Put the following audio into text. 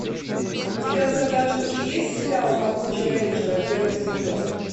у тебя в загашнике есть сериал могучие рейнджеры первый сезон